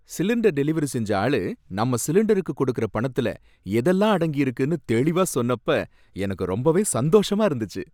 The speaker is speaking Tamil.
சிலிண்டர் டெலிவரி செஞ்சஆளு நம்ம சிலிண்டருக்கு கொடுக்கற பணத்துல, எதெல்லாம் அடங்கியிருக்குன்னு தெளிவா சொன்னப்ப எனக்கு ரொம்பவே சந்தோஷமா இருந்துச்சு.